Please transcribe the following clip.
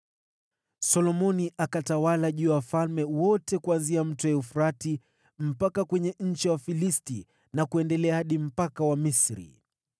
Solomoni akatawala juu ya wafalme wote kuanzia Mto Frati mpaka kwenye nchi ya Wafilisti na kuendelea hadi mpaka wa Misri.